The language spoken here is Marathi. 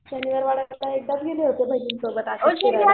शनिवार वाद कसा